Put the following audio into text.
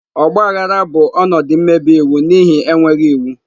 Ogba aghara bụ ọnọdụ mmebi iwu n'ihi enweghị iwu.